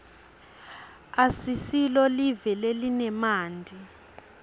asisilo live lelinemanti